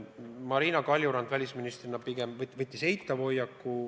Marina Kaljurand välisministrina pigem võttis eitava hoiaku.